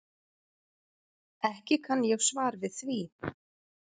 Ekki kann ég svar við því.